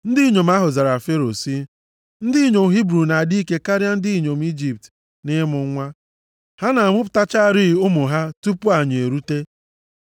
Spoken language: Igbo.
Ndị inyom ahụ zara Fero sị, “Ndị inyom Hibru na-adị ike karịa ndị inyom Ijipt nʼịmụ nwa. Ha na-amụpụtacharị ụmụ ha tupu anyị erute.”